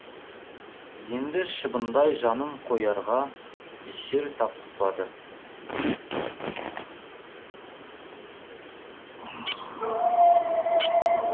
енді шыбындай жанын қоярға жер тапқызбады